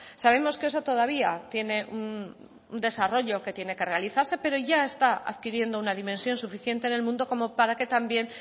sabemos que eso todavía tiene un desarrollo que tiene que realizarse pero ya está adquiriendo una dimensión suficiente en el mundo como para que también